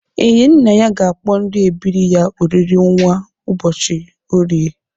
Enyinnaya ga-akpọ ndị ebiri ya oriri nwa n'ụbọchị orie.